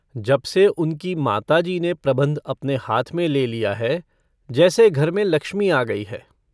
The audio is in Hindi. जबसे उनकी माताजी ने प्रबन्ध अपने हाथ में ले लिया है, जैसे घर में लक्ष्मी आ गई है।